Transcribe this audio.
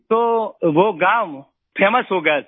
तो वो गाँव फेमस हो गया सर